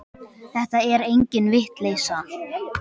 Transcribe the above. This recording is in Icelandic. Þetta er engin vitleysa.